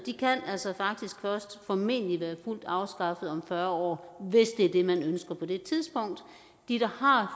altså faktisk først formentlig være fuldt afskaffet om fyrre år hvis det er det man ønsker på det tidspunkt de der har